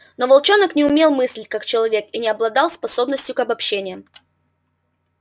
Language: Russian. но волчонок не умел мыслить как человек и не обладал способностью к обобщениям